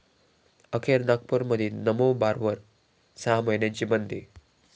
अखेर नागपूरमधील नमो बारवर सहा महिन्यांची बंदी